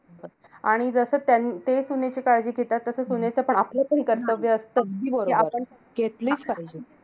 आणि जसं त्यां ते सुनेची काळजी घेतात, तसं सुनेचं पण आपलं पण कर्तव्य असतं, कि घेतलीच पाहिजे.